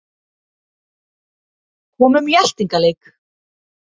Komum í eltingaleik